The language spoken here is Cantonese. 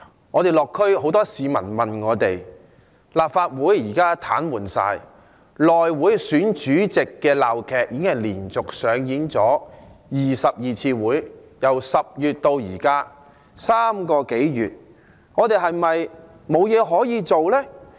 我在落區時，有很多市民問我，立法會現時全面癱瘓，內會選主席的鬧劇，已經連續在12次會議中上演，由10月至今3個多月，我們是否沒有任何方法可處理呢？